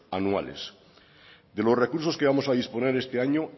anuales de los recursos que vamos a disponer este año